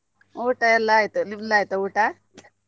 ಊಟ ಎಲ್ಲಾ ಆಯ್ತು, ನಿಮ್ದು ಆಯ್ತಾ ಊಟ?